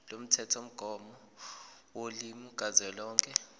lomthethomgomo wolimi kazwelonke